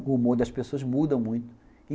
O humor das pessoas muda muito.